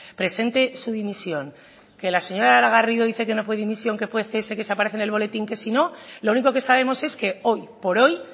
presente su dimisión que la señora laura garrido dice que no fue dimisión que fue cese que aparece en el boletín que si no lo único que sabemos es que hoy por hoy